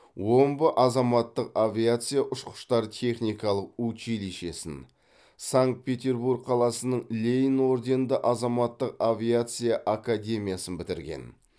омбы азаматтық авиация ұшқыштар техникалық училищесін санкт петербург қаласының ленин орденді азаматтық авиация академиясын бітірген